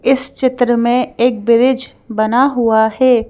इस चित्र में एक ब्रिज बना हुआ है।